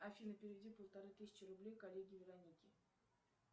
афина переведи полторы тысячи рублей коллеге веронике